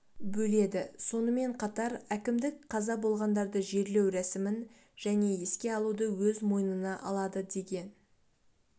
бөледі сонымен қатар әкімдік қаза болғандарды жерлеу рәсімін және еске алуды өз мойнына алады деген